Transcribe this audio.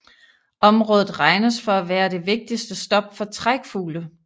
Området regnes for at være det vigtigste stop for trækfugle